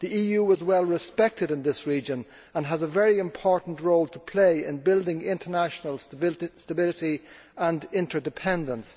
The EU is well respected in this region and has a very important role to play in building international stability and interdependence.